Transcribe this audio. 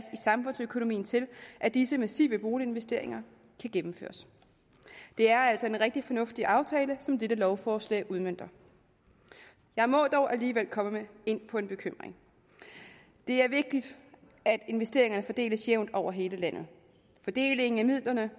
samfundsøkonomien til at disse massive boliginvesteringer kan gennemføres det er altså en rigtig fornuftig aftale som dette lovforslag udmønter jeg må dog alligevel komme ind på en bekymring det er vigtigt at investeringerne fordeles jævnt over hele landet fordelingen af midlerne